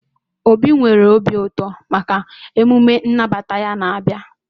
Obi nwere obi ụtọ maka emume nnabata ya na-abịa.